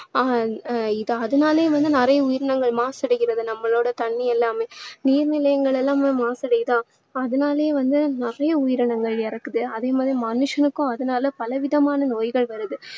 ஆஹ் இது~ அதுனாலேயும் வந்து நிறைய உயிரினங்கள் மாசடைகிறது நம்மளோட தண்ணீர் எல்லாமே நீர் நிலைகள் எல்லாமே மாசடையுதா அதனாலயே வந்து நிறைய உயிரினங்கள் இறக்குது அதே மாதிரி மனுஷனுக்கும் அதுனால பல விதமான நோய்கள் வருது